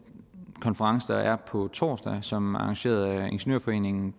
konference der er på torsdag som er arrangeret af ingeniørforeningen